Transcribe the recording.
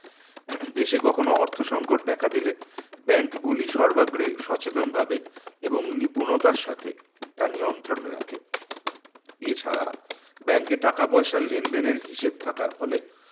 দেশে কখনো অর্থ সংকট দেখা দিলে bank গুলি সর্বাগ্রে সচেতনভাবে এবং নিপুণতার সাথে তা নিয়ন্ত্রণ রাখে এছাড়া bank এ টাকা পয়সা লেনদেনের হিসেবে থাকার ফলে